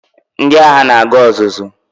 Ndị agha na-aga ọzụzụ